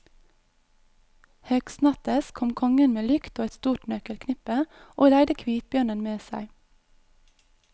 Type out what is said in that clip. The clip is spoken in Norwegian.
Høgstnattes kom kongen med lykt og et stort nøkkelknippe, og leide kvitbjørnen med seg.